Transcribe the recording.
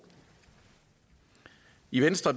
i venstre